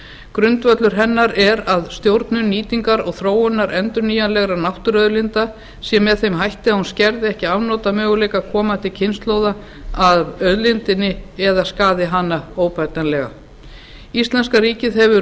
grundvöllur hennar er að stjórnun nýtingar og þróunar endurnýjanlegra náttúruauðlinda sé með þeim hætti að hún skerði ekki afnotamöguleika komandi kynslóða af auðlindinni eða skaði hana óbætanlega íslenska ríkið hefur